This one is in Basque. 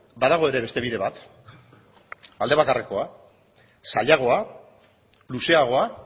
badago ere beste bide bat alde bakarrekoa zailagoa luzeagoa